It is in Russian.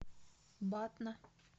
батна